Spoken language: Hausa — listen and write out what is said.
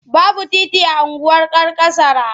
Baby titi a unguwar Karkasara.